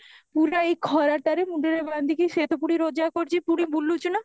ପୁରା ଏଇ ଖରାଟାରେ ମୁଣ୍ଡରେ ବାନ୍ଧିକି ସେ ତ ପୁଣି ରୋଜା କରୁଚି ପୁଣି ବୁଲୁଚି ନା